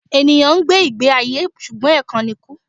Ènìyàn ń gbé ìgbé ayé ṣùgbọ́n ẹ̀kan ni kú